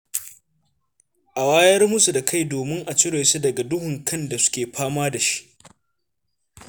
A wayar musu da kai domin a cire su daga duhun kan da suke fama da shi.